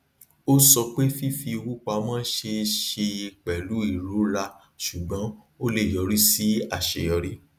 ó sọ pé fífi owó pamó ṣeé ṣe pẹlú ìrora ṣùgbọn ó le yọrí sí àṣeyọrí